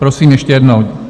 Prosím ještě jednou.